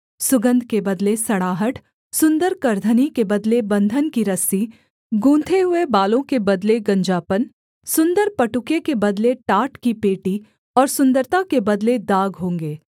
सुगन्ध के बदले सड़ाहट सुन्दर करधनी के बदले बन्धन की रस्सी गूँथे हुए बालों के बदले गंजापन सुन्दर पटुके के बदले टाट की पेटी और सुन्दरता के बदले दाग होंगे